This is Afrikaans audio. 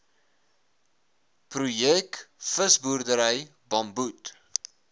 projek visboerdery bamboed